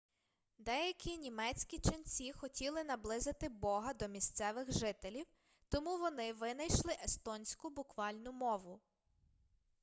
деякі німецькі ченці хотіли наблизити бога до місцевих жителів тому вони винайшли естонську буквальну мову